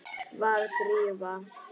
Var Drífa.?